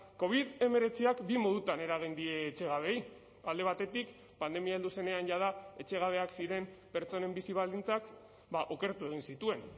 covid hemeretziak bi modutan eragin die etxegabeei alde batetik pandemia heldu zenean jada etxegabeak ziren pertsonen bizi baldintzak okertu egin zituen